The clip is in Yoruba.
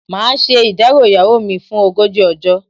Màá ṣe ìdárò ìyàwó mi fún ogójì ọjọ́.